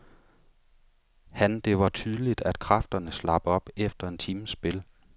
Han Det var tydeligt, at kræfterne slap op efter en times spil.